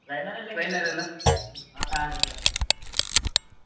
Trainer ಎಲ್ಲ ಹಾ ಇದ್ದಾರೆ ಇದ್ದಾರೆ.